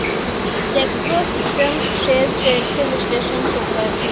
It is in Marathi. टेकप्रो सिस्टम्स शेअर्स ट्रेंड्स चे विश्लेषण शो कर